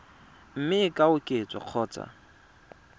mme e ka oketswa kgotsa